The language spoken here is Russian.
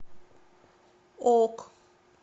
ок